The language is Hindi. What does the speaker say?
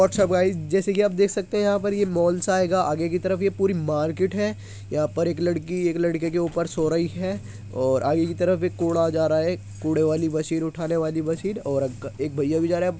वाटसप गाइस जैसे कि आप देख सकते हैं यहाँ पर ये मॉल सा आएगा आगे की तरफ ये पूरी मार्केट है | यहाँ पर एक लड़की एक लड़के के ऊपर सो रही है और आगे की तरफ एक कोड़ा जा रहा है कूड़े वाली मशीन उठाने वाली मशीन और अंकल एक भैय्या भी जा रहें --